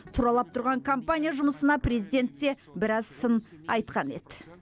тұралап тұрған компания жұмысына президент те біраз сын айтқан еді